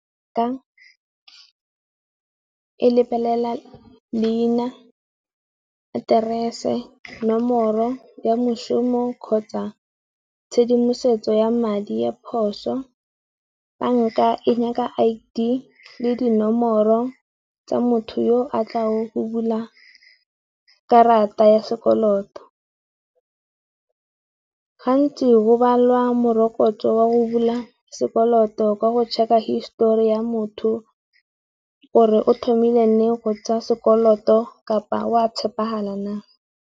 e lebelela leina, aterese, nomoro ya moshomo kgotsa tshedimosetso ya madi ya phoso. Banka e nyaka I_D le dinomoro tsa motho yo a tla le go bula karata ya sekoloto. Ga ntsi go balwa morokotso wa go bula sekoloto ka go check-a histori ya motho, gore o thomile leng go tsaa sekoloto kapa wa tshepagala na.